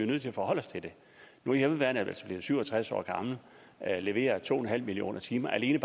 nødt til at forholde os til det nu er hjemmeværnet blevet syv og tres år gammelt leverer to en halv millioner timer alene